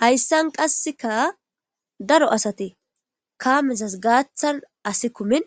Hayssan qasseka daro asati kaamezas gaaththan asi kumin